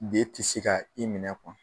B ti se ka i minɛ